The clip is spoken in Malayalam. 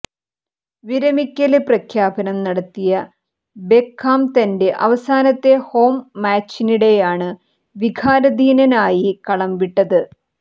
വിരമിക്കല് പ്രഖ്യാപനം നടത്തിയ ബെക്കാം തന്റെ അവസാനത്തെ ഹോം മാച്ചിനിടെയാണ് വികാരാധീനനായി കളം വിട്ടത്